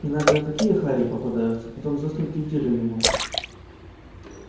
иногда такие хари попадаются потом заснуть неделю не можешь